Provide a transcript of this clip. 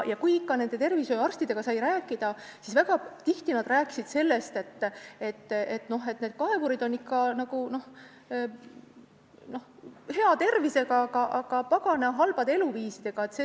Kui tervishoiuarstidega sai räägitud, siis nad väga tihti ütlesid, et kaevurid on hea tervisega, aga pagana halbade eluviisidega.